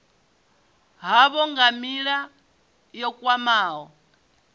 havho nga nila yo khwahaho